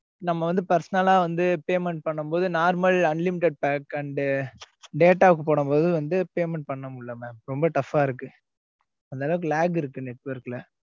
நம்ம வந்து personal ஆஹ் வந்து payment பண்ணும் போது normal unlimited pack and போடும் போது வந்து, payment பண்ண முடியலை, mam ரொம்ப tough ஆ இருக்கு. அந்த அளவுக்கு, lag இருக்கு, network ல.